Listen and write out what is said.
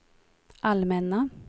allmänna